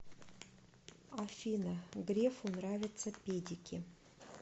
афина грефу нравятся педики